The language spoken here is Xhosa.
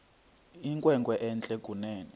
inkwenkwe entle kunene